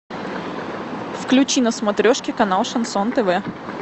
включи на смотрешке канал шансон тв